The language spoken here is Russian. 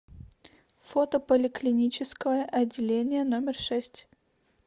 фото поликлиническое отделение номер шесть